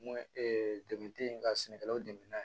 N ko dɛmɛ tɛ yen ka sɛnɛkɛlaw dɛmɛ n'a ye